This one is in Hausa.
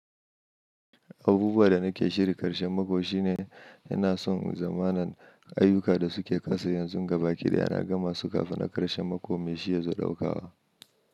Abubuwan da nake shirya karshen mako shine ina son yazamana ayyuka da suke kasa yanzu gaba da yana gama su kafin na karshen mako mai shi ya zo ɗaukawa.